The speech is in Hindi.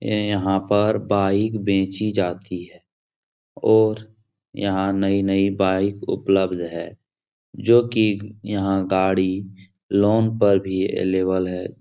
ए यहाँ पर बाइक बेची जाती है और यहाँ नई-नई बाइक उपलब्ध है जो की यहाँ गाड़ी लोन पर भी अलेवल है।